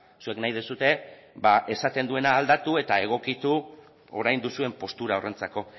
zuek nahi duzue esaten duena aldatu eta egokitu orain duzuen postura horrentzako